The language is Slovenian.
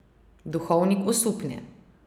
Duhovnik osupne.